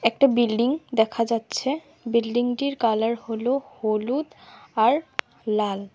একটা বিল্ডিং দেখা যাচ্ছে বিল্ডিংটির কালার হল হলুদ আর লাল।